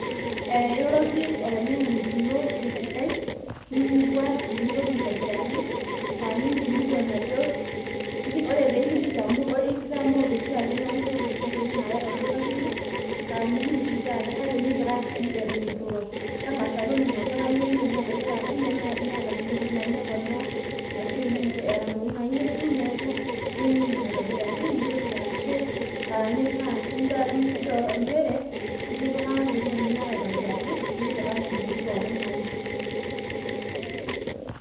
iroroki olainyang'ani lino tesidai nimibuaki nirorie aitobiraki ore pee kiliki, amu itamoote oshiake neeku iyiolo oshi ake intokitin naaya tolduka lino kake mipikaki sii eton eturo, tang'asa toningu amu ebaki taata neeta intokitin nayieu neponaa, ashu nayieu nedung' nayakikisha ajo itipikaka intokitin nayieu.